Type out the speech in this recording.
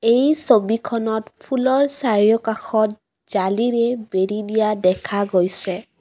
এই ছবিখনত ফুলৰ চাৰিওকাষত জালিৰে বেৰি দিয়া দেখা গৈছে।